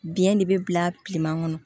Biyɛn de bɛ bila kilema kɔnɔ